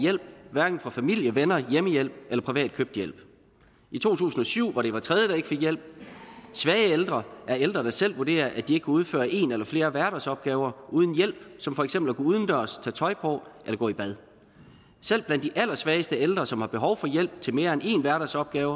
hjælp hverken fra familie venner hjemmehjælp eller privat købt hjælp i to tusind og syv var det hver tredje der ikke fik hjælp svage ældre er ældre der selv vurderer at de ikke kan udføre en eller flere hverdagsopgaver uden hjælp som for eksempel at gå udendørs tage tøj på eller gå i bad selv blandt de allersvageste ældre som har behov for hjælp til mere end en hverdagsopgave